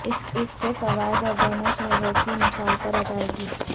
اس کے فوائد اور دونوں شہروں کی مثال پر ادائیگی